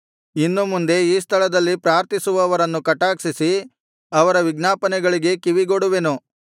ಇನ್ನು ಮುಂದೆ ಈ ಸ್ಥಳದಲ್ಲಿ ಪ್ರಾರ್ಥಿಸುವವರನ್ನು ಕಟಾಕ್ಷಿಸಿ ಅವರ ವಿಜ್ಞಾಪನೆಗಳಿಗೆ ಕಿವಿಗೊಡುವೆನು